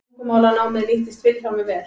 Tungumálanámið nýttist Vilhjálmi vel.